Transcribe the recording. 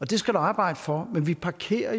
det skal du arbejde for men vi parkerer